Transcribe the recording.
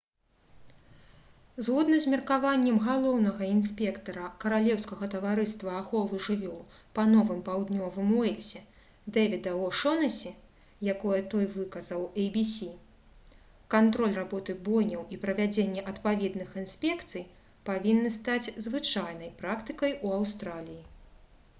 згодна з меркаваннем галоўнага інспектара каралеўскага таварыства аховы жывёл па новым паўднёвым уэльсе дэвіда о'шонэсі якое той выказаў «эй-бі-сі» кантроль работы бойняў і правядзенне адпаведных інспекцый павінны стаць звычайнай практыкай у аўстраліі